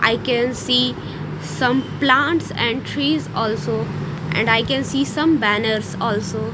i can see some plants and trees also and i can see some banners also.